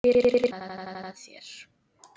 Birnu með þér.